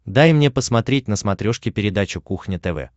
дай мне посмотреть на смотрешке передачу кухня тв